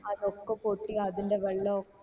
അതൊക്കെ പൊട്ടി അതിന്റെ വെള്ളം ഒക്ക